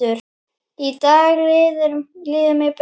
Í dag líður mér betur.